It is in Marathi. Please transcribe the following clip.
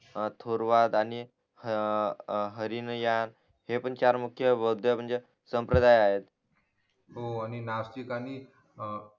थुर्वात आणि ह ह ह हरिनियर हे पण चार मुख्य बुध्ये म्हणजे संप्रदायात हो आणि नास्तिक आणि